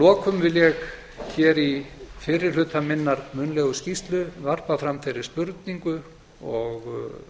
lokum vil ég hér í fyrri hluta minnar munnlegu skýrslu varpa fram þeirri spurningu og